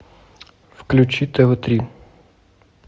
включи тв три